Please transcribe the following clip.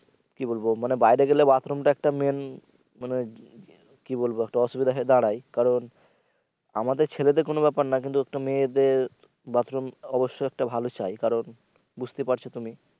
কি বলবো মানে বাইরে গেলে bathroom টা একটা main মানে কি বলব একটা অসুবিধা হয়ে দাঁড়ায় কারণ আমাদের ছেলেদের কোন ব্যাপার না কিন্তু একটা মেয়েদের বাথরুম অবশ্যই একটা ভালো চাই কারণ বুঝতেই পারছো তুমি